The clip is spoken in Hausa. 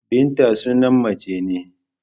Binta sunan mace ne.